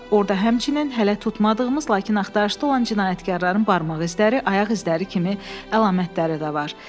Orda həmçinin hələ tutmadığımız, lakin axtarışda olan cinayətkarların barmaq izləri, ayaq izləri kimi əlamətləri də var.